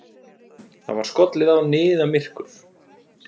Það var skollið á niðamyrkur.